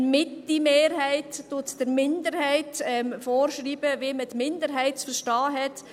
Eine Mitte-Mehrheit schreibt der Minderheit vor, wie man die Minderheit zu verstehen hat.